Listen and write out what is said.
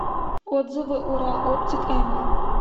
отзывы урал оптик м